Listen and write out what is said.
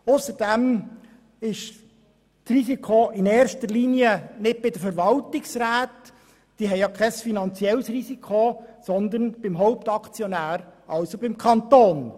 Ausserdem liegt das Risiko in erster Linie nicht bei den Verwaltungsräten – diese tragen kein finanzielles Risiko –, sondern beim Hauptaktionär, also dem Kanton.